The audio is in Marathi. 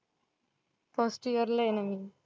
फर्स्ट ईअर ला आहे ना मी.